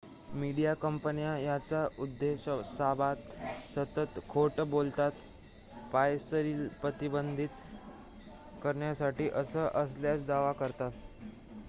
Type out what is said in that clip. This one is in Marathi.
"मीडिया कंपन्या याच्या उद्देशाबाबत सतत खोट बोलतात "पायरसीला प्रतिबंध" करण्यासाठी असं असल्याचा दावा करतात.